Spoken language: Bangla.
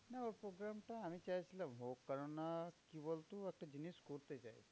না ওর program টা আমি চাইছিলাম হোক কারণ না কি বলতো? একটা জিনিস করতে চাই